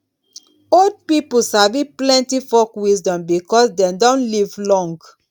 old pipo sabi plenty folk wisdom because dem don live long.